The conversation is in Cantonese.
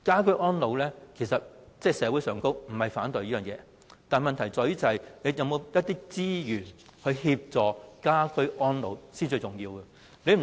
可是，社會並非反對居家安老服務，問題在於政府有否資源協助居家安老服務呢？